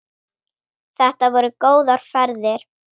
Þetta voru góðar ferðir.